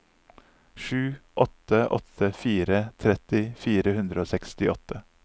sju åtte åtte fire tretti fire hundre og sekstiåtte